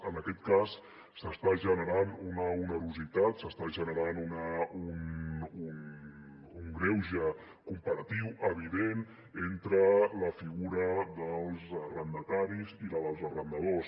en aquest cas s’està generant una onerositat s’està generant un greuge comparatiu evident entre la figura dels arrendataris i la dels arrendadors